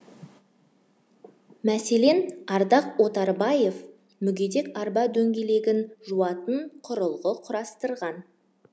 мәселен ардақ отарбаев мүгедек арба дөңгелегін жуатын құрылғы құрастырған